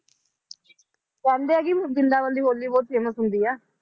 ਕਹਿੰਦੇ ਆ ਕਿ ਬਰਿੰਦਾਬਨ ਦੀ ਹੋਲੀ ਬਹੁਤ famous ਹੁੰਦੀ ਆ।